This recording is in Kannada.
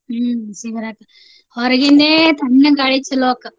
ಹ್ಮ್ ಬಿಸೀ ಬರಾಕ್. ಹೊರ್ಗಿಂದೇ ತಣ್ಣಗ್ ಗಾಳಿ ಚಲೋ ಅಕ್ಕ.